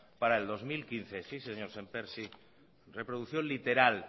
para el dos mil quince sí señor sémper sí reproducción literal